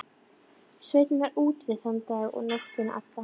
Sveinn var útivið þann dag og nóttina alla.